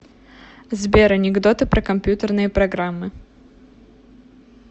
сбер анекдоты про компьютерные программы